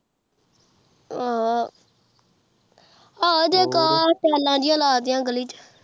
ਆਹ ਅਜੇ ਲਾ ਡੇਯ ਗੱਲੀ ਚ